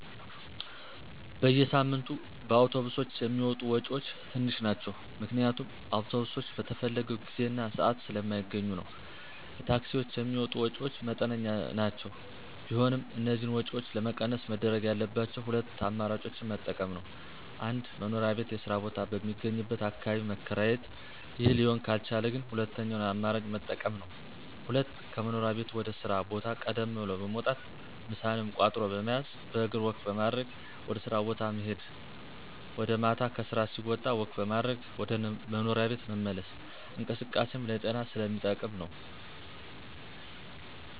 በየሳምንቱ በአውቶብሶች የሚወጡ ወጭወች ትንሽ ናቸው ምክንያቱም አውቶብሶች በተፈለገው ጊዜ እና ስአት ስለማገኙ ነዉ። ለታክሲወች የሚወጡ ወጭወች መጠነኛ ናቸው ቢሆንም እነዚህን ወጭወች ለመቀነስ መደረግ ያለባቸው ሁለት አማራጮችን መጠቀም ነወ። 1-መኖሪያ ቤት የስራ ቦታ በሚገኝበት አካባቢ መከራየት ይህ ሊሆን ካልቻለ ግን ሁለተኛውን አማራጭ መጠቀም ነው። 2-ከመኖሪያ ቤት ወደ ስራ ቦታ ቀደም ብሎ በመውጣት ምሳንም ቋጥሮ በመያዝ በእግር ወክ በማድረግ ወደ ስራ ቦታ መሄድ ወጀ ማታም ከስራ ሲወጣ ወክ በማድረግ ወደ መኖሪያ ቤት መመለስ እንቅስቃሴም ለጤና ስለሚጠቅም ነው።